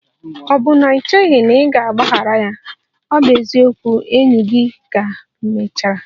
Ọ̀ bụ na i cheghị na ị ga-agbaghara ya? Ọ bụ ezigbo enyi gị ka emechara.